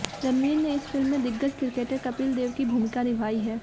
रणवीर ने इस फिल्म में दिग्गज क्रिकेटर कपिल देव की भूमिका निभाई है